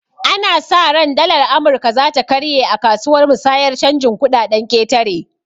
Ana sa ran dalar amurka zata karye akasuwar musayar canjin kuɗaɗen ƙetare